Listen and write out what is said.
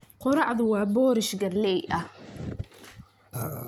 Quraacdu waa boorash galley ah.